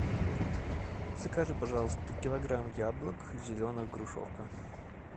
закажи пожалуйста килограмм яблок зеленых грушовка